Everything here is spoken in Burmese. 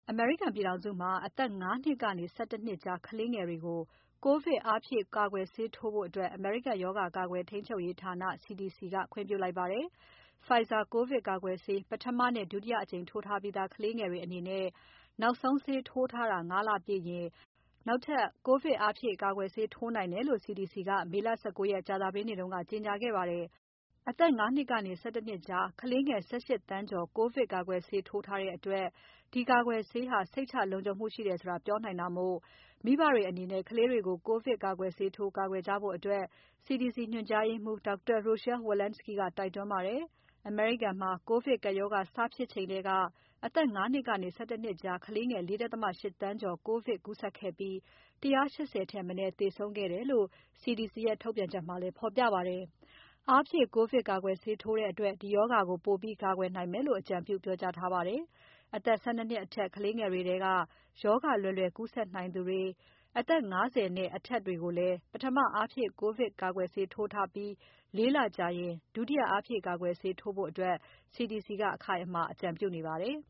အမေရိကန်ပြည်ထောင်စုမှာ အသက် ၅ နှစ်ကနေ ၁၁ နှစ်ကြား ကလေးငယ်တွေကို ကိုဗစ် အားဖြည့်ကွယ်ဆေးထိုးဖို့ အမေရိကန်ရောဂါ ကာကွယ်ထိန်းချုပ်ရေးဌာန CDC ကခွင့်ပြုလိုက်ပါတယ်။ Pfizer ကိုဗစ်ကာကွယ်ဆေး ပထမနဲ့ ဒုတိယအကြိမ်ထိုးထားပြီးသား ကလေးငယ်တွေအနေနဲ့ နောက်ဆုံးဆေးထိုးထားတာ ၅ လပြည့်ရင် နောက်ထပ် ကိုဗစ်အားဖြည့် ကာကွယ်ဆေးထိုးနိုင်တယ်လို့ CDC က မေလ ၁၉ ရက် ကြာသပတေးနေ့က ကြေညာပါတယ်။ အသက် ၅ နှစ်ကနေ ၁၁ နှစ်ကြားကလေးငယ် ၁၈ သန်းကျော် ကိုဗစ်ကာကွယ်ဆေးထိုးထားတဲ့အတွက် ဒီကာကွယ်ဆေးဟာ စိတ်ချလုံခြုံမှုရှိတယ်ဆိုတာ ပြောနိုင်တာမို့ မိဘတွေအနေနဲ့ ကလေးတွေကို ကိုဗစ်ကာကွယ်ဆေး ထိုးထားကာကွယ်ဖို့ CDC ညွှန်ကြားရေးမှူး Dr. Rochelle P. Walensky က တိုက်တွန်းပါတယ်။ အမေရိကန်မှာ ကိုဗစ်ကပ်ရောဂါ စဖြစ်ချိန်ကတည်းက အသက် ၅ နှစ်ကနေ ၁၁ နှစ်ကြားကလေးငယ် ၄.၈ သန်းကျော် ကိုဗစ်ကူးစက်ခဲ့ပြီး ၁၈၀ ထက်မနည်း သေဆုံးခဲ့တယ်လု့ိ CDC ရဲ့ ထုတ်ပြန်ချက်မှာ ဖော်ပြပါတယ်။ အားဖြည့်ကိုဗစ်ကာကွယ်ဆေးထိုးတဲ့အတွက် ဒီရောဂါကို ပိုပြီးကာကွယ်နိုင်မယ်လို့ ပြောကြားအကြံပြုထားတာပါ။ အသက် ၁၂ နှစ်အထက် ကလေးတွေထဲက ရောဂါလွယ်လွယ်ကူးစက်နိုင်သူတွေ၊ အသက် ၅၀ နဲ့အထက်တွေကိုလည်း ပထမအားဖြည့်ကိုဗစ်ကာကွယ်ဆေး ထိုးထားပြီး ၄ လကြာရင် ဒုတိယအားဖြည့်ကာကွယ်ဆေးထိုးဖို့လည်း CDC က အခိုင်အမာ အကြံပြုပါတယ်